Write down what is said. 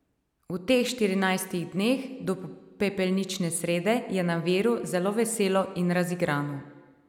V teh štirinajstih dneh do pepelnične srede je na Viru zelo veselo in razigrano.